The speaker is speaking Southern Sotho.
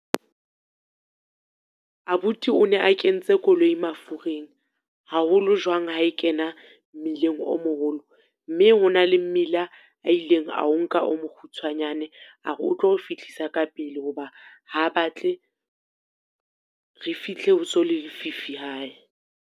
Abuti o ne a kentse koloi mafureng. Haholo jwang ha e kena mmileng o moholo, mme hona le mmila a ileng a o nka o mokgutshwanyane, a re o tlo re fihlisa ka pele ho ba ha batle re fihle ho so le fifi hae.